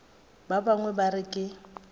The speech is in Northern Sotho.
ba bangwe ba re ke